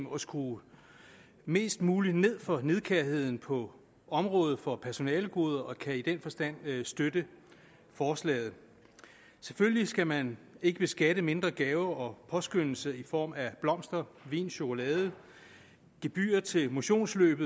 og skrue mest muligt ned for nidkærheden på området for personalegoder og vi kan i den forstand støtte forslaget selvfølgelig skal man ikke beskatte mindre gaver og påskønnelser i form af blomster vin chokolade gebyrer til motionsløb